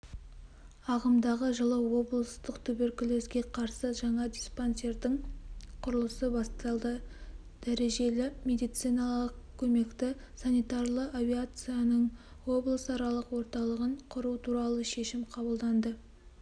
ағымдағы жылы облыстық туберкулезге қарсы жаңа диспансердің құрылысы басталды дәрежелімедициналық көмекті санитарлы авиацияның облысаралық орталығын құру туралы шешім қабылданды